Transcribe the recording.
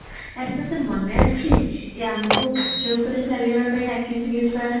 ଆରେ ତତେ ମନେ ଅଛି ଏ ଆମକୁ କାଚ ଉପରେ ଚାଲିବାକୁ ଡ଼ାକିଥିଲେ sir